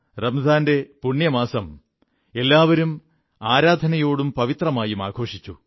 റംസാന്റെ പുണ്യമാസം എല്ലാവരും ആരാധനയോടും പവിത്രമായും ആഘോഷിച്ചു